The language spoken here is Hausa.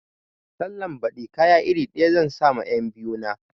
Sallan baɗi kaya iri ɗaya zan sa ma 'yan biyu na